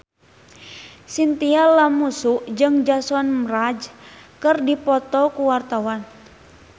Chintya Lamusu jeung Jason Mraz keur dipoto ku wartawan